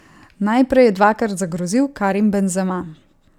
Najprej je dvakrat zagrozil Karim Benzema.